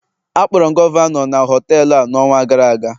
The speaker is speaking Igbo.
Akpọrọ m gọvanọ n họtelu a n'ọnwa gara aga